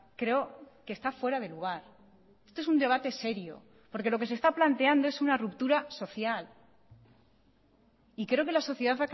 creo que está fuera de lugar esto es un debate serio porque lo que se está planteando es una ruptura social y creo que la sociedad